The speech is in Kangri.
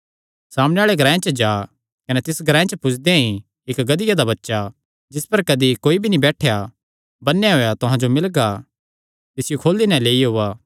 सामणै आल़े ग्रांऐ च जा कने तिस ग्रांऐ पुजदेयां ई इक्क गधिया दा बच्चा जिस पर कदी कोई भी नीं बैठेया ऐ बन्नेया होएया तुहां जो मिलगा तिसियो खोली नैं लेई ओआ